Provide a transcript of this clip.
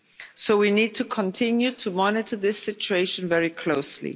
So we need to continue to monitor this situation very closely.